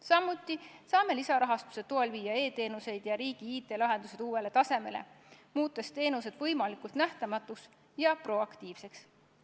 Samuti saame lisarahastuse toel viia e-teenused ja riigi IT-lahendused uuele tasemele, muutes teenused võimalikult nähtamatuks ja proaktiivseks.